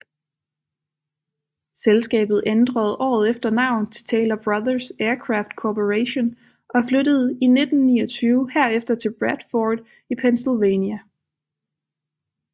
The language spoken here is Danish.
Selskabet ænderede året efter navn til Taylor Brothers Aircraft Corporation og flyttede i 1929 herefter til Bradford i Pennsylvania